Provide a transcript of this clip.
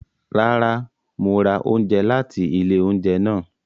Rara, Mo ra oúnjẹ láti ilé oúnjẹ náà